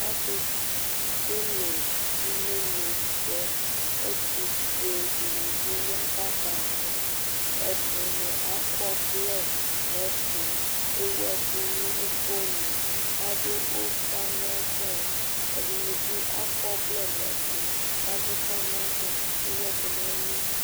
Akekele imenosɛ, ɛtufoe ɗinibi ya kakamɔ, ɛɗini akɔvlɛ nɛtu, ẹwu ɛku nu ukponu, aḍu ufa nɔmɔ, ɛdinibi akɔ vlɛ nɛtu kaɗufa nɔmɔ, ewu ɛku nɛlu